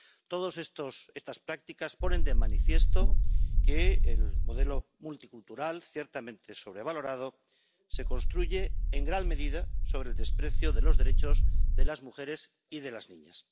Todas estas prácticas ponen de manifiesto que el modelo multicultural ―ciertamente es sobrevalorado― se construye, en gran medida, sobre el desprecio de los derechos de las mujeres y de las niñas.